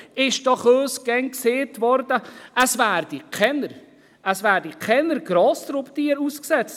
Uns wurde doch immer gesagt, in der Schweiz würden keine Grossraubtiere ausgesetzt.